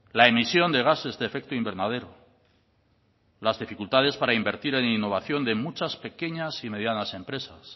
la emisión de gases de efecto invernadero las dificultades para invertir en innovación de muchas pequeñas y medianas empresas